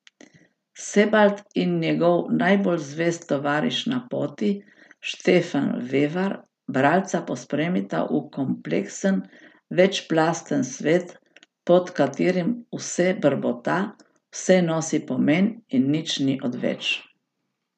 Sebald in njegov najbolj zvest tovariš na poti, Štefan Vevar, bralca pospremita v kompleksen, večplasten svet, pod katerim vse brbota, vse nosi pomen in nič ni odveč.